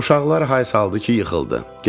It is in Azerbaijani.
Uşaqlar hay saldı ki, yıxıldı.